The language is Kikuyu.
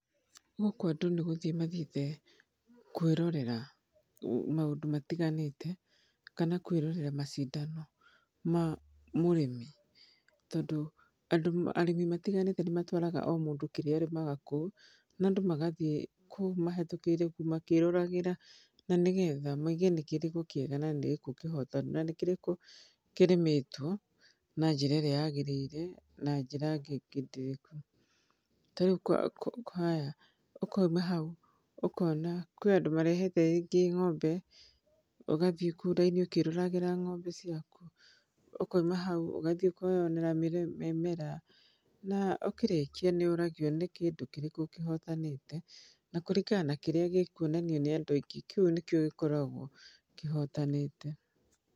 Gũkũ andũ nĩ gũthiĩ mathĩĩte kwĩrorera maũndũ matiganĩte kana kwĩrorera macindano ma mũrĩmi, tondũ arĩmĩ matiganĩte nĩ matwaraga o mũndũ kĩrĩa arĩmaga kũu na andĩ magathiĩ kũu mahĩtũkĩire makĩroragĩra na nĩgetha moige nĩ kĩrĩkũ kĩega na kĩrĩkũ kĩhotanu na nĩkĩrĩkũ kĩrĩmĩtwo na njĩra ĩrĩa yagĩrĩire na njĩra ngindĩrĩku. Ta rĩu haya, ũkoima hau ũkona kwĩna andũ marehete ng'ombe rĩngĩ ũgathiĩ kũu raini ũkĩroragĩra ng'ombe ciaku. Ũkoima hau ũgathiĩ ũkeyonera mĩmera na ũkĩrĩkia nĩũragio nĩ kĩndũ kĩrĩkũ kĩhotanĩte na kũringana na kĩrĩa gĩkuonanio ni andũ aingĩ kĩu nĩkĩo gĩkoragwo kĩhotanĩte.